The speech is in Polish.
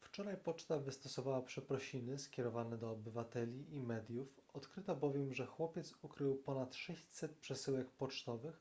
wczoraj poczta wystosowała przeprosiny skierowane do obywateli i mediów odkryto bowiem że chłopiec ukrył ponad 600 przesyłek pocztowych